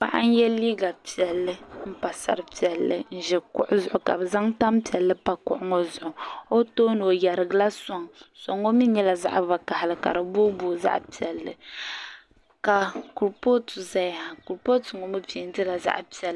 Paɣa n-ye liiga piɛlli m-pa sari piɛlli n-ʒi kuɣu zuɣu ka bɛ zaŋ tampiɛlli pa kuɣu ŋɔ zuɣu o tooni o yarigila sɔŋa sɔŋ ŋɔ mi nyɛla zaɣ'vakahili ka di booiboi zaɣ'piɛlli ka kurupootu zaya ha kurupootu mi peentila zaɣ'piɛlli.